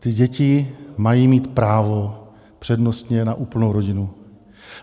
Ty děti mají mít právo přednostně na úplnou rodinu.